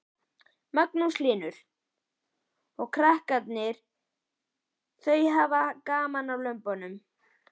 Magnús Hlynur: Og krakkarnir þau hafa gaman að lömbunum?